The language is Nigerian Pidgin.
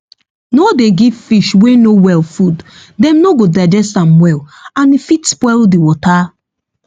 no dey give fish wey no well food dem no go digest am well and e fit spoil the water